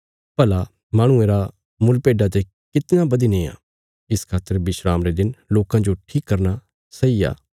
भला माहणुये रा मुल भेड्डा ते कितना बधी नेआ इस खातर विस्राम रे दिन लोकां जो ठीक करना सही आ